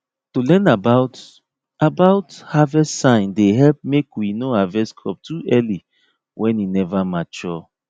to learn about about harvest sign dey help make we no harvest crop too early when e never mature